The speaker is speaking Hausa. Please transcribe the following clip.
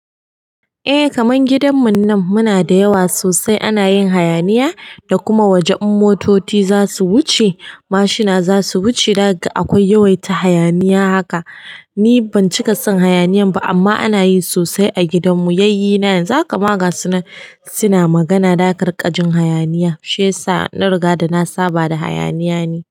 Eh kaman gidan munnan muna da yawa sosai ana yin hayaniya da kuma wajen motoci zasu wuce mashina zasu wuce zakaga akwai yawaita hayaniya haka. Ni ban cika son hayaniyan ba amma ana yin sosai a gidanmu yayyena yanzu haka magasu nan suna magana da kariƙajin hayaniya shi yasa na riga da na saba da hayaniya ni.